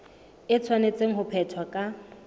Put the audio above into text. e tshwanetse ho phethwa ka